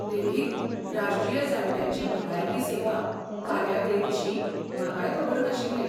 देखीक, राष्ट्रीय जाण्ट्यांची भलायकी सेवा कार्यावळीविशीं म्हाकाय खबर नाशिल्लें.